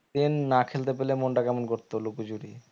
একদিন না খেলতে পেলে মনটা কেমন করতো লুকো চুরি